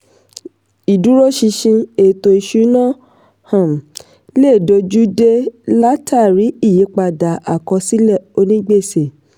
ìdúró ṣinṣin ètò-ìsúnná um lè dojú dé látàrí ìyípadà àkọsílẹ̀ onígbèsè.